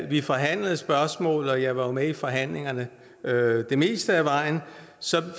vi forhandlede spørgsmålet og jeg var jo med i forhandlingerne det meste af vejen